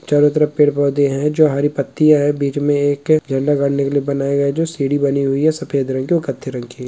चारों तरफ पेड पौधे हैं जो हरी पत्तिया हैं बीच में एक झंडा गाड़ने के लिए बनाया गया है जो सीढ़ी बनी हुई है सफेद रंग की और कत्थे रंग की।